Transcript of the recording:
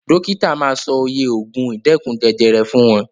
Dókítà ma sọ oye ògùn ìdẹ́kun jẹjẹrẹ fún wọn.